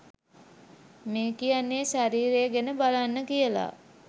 මේ කියන්නේ ශරීරය ගැන බලන්න කියල